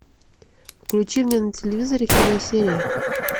включи мне на телевизоре киносерия